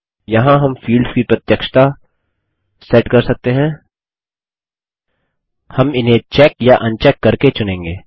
यहाँ हम फील्ड्स की प्रत्यक्षता सेट कर सकते हैं हम इन्हें चेक या अनचेक करके चुनेंगे